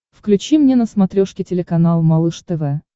включи мне на смотрешке телеканал малыш тв